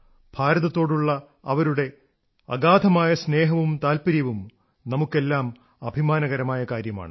ഭാരതത്തോടുള്ള അവരുടെ ഭ്രാന്തമായ സ്നേഹവും താത്പര്യവും നമുക്കെല്ലാം അഭിമാനകരമായ കാര്യമാണ്